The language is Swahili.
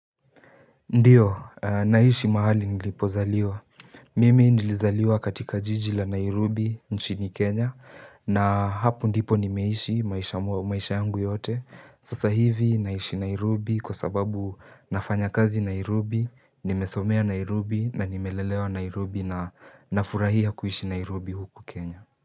Ndiyo, naishi mahali nilipozaliwa. Mimi nilizaliwa katika jiji la Nairobi nchini Kenya na hapo ndipo nimeishi maisha yangu yote. Sasa hivi naishi Nairobi kwa sababu nafanya kazi Nairobi, nimesomea Nairobi na nimelelewa Nairobi na nafurahia kuishi Nairobi huku Kenya.